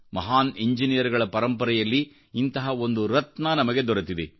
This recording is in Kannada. ಮಹಾನ್ ಇಂಜಿನಿಯರ್ಗಳಪರಂಪರೆಯಲ್ಲಿ ಇಂತಹ ಒಂದು ರತ್ನ ನಮಗೆ ದೊರೆತಿದೆ